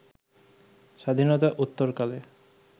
স্বাধীনতা উত্তরকালে